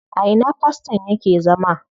A ina faston yake zama?